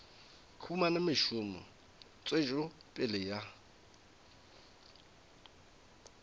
humana mešomo tswetšo pele ya